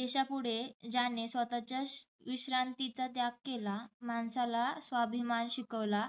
“देशापुढे ज्याने स्वतःच्या विश्रांतीचा त्याग केला माणसाला स्वाभिमान शिकवला.